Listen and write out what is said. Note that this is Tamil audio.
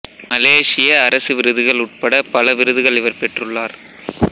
மலேசிய அரசு விருதுகள் உட்படப் பல விருதுகள் இவர் பெற்றுள்ளார்